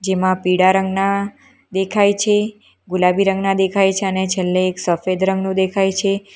જેમાં પીળા રંગના દેખાય છે ગુલાબી રંગના દેખાય છે અને છેલ્લે એક સફેદ રંગનું દેખાય છે.